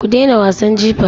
Ku dena wasan jifa.